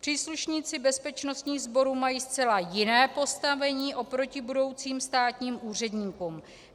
Příslušníci bezpečnostních sborů mají zcela jiné postavení oproti budoucím státním úředníkům.